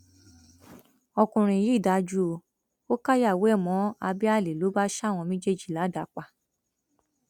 ọkùnrin yìí dájú o ò káyàwó ẹ mọ abẹ àlè ló bá ṣa àwọn méjèèjì ládàá pa